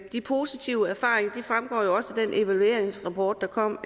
de positive erfaringer fremgår også af den evalueringsrapport der kom